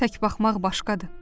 Tək baxmaq başqadır.